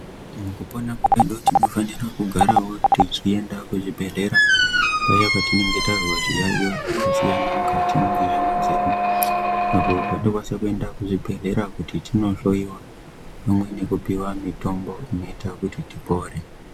Mukupona kwedu tinofanira kugarawo tichienda kuchibhedhlera paya petinenge tazwa zviyaiyo zvakasiyana mukati mwenyama dzedu, apo patinokwanisa kuenda kuchibhedhlera kuti tinohloyiwa pamwe nekupiwa mitombo inoita kuti tipore.